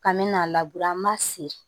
K'an me n'a labure an b'a se